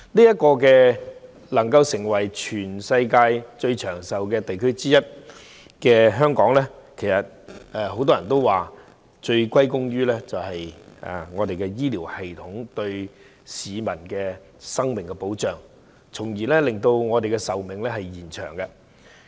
香港能夠成為全球最長壽的地區之一，很多人都說要歸功於我們的醫療系統，它對市民生命作出的保障，使我們的壽命得以延長。